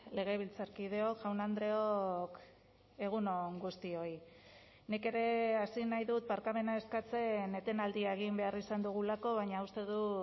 legebiltzarkideok jaun andreok egun on guztioi nik ere hasi nahi dut barkamena eskatzen etenaldia egin behar izan dugulako baina uste dut